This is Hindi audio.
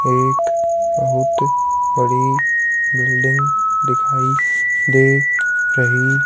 एक बहुत बड़ी बिल्डिंग दिखाई दे रही--